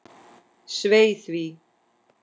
Svei því.